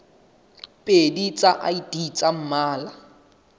pedi tsa id tsa mmala